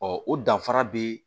o danfara be